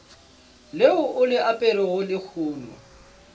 leo o le aperego lehono